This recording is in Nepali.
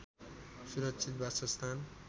सुरक्षित वासस्थान